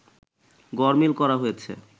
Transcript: গড়মিল করা হয়েছে